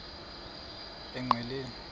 koma emdumbi engqeleni